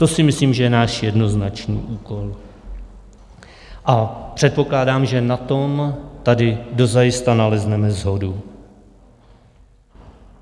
To si myslím, že je náš jednoznačný úkol, a předpokládám, že na tom tady dozajista nalezneme shodu.